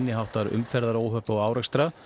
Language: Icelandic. háttar umferðaróhöpp og árekstra